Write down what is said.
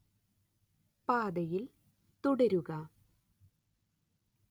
പാതയിൽ തുടരുക